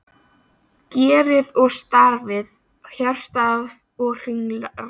GERÐ OG STARF HJARTA OG HRINGRÁSAR